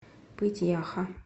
пыть яха